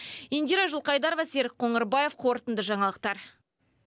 индира жылқайдарова серік қоңырбаев қорытынды жаңалықтар